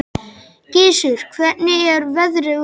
Gissur, hvernig er veðrið úti?